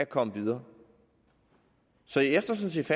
komme videre så jeg står sådan set